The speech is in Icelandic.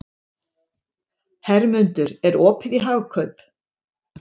Hermundur, er opið í Hagkaup?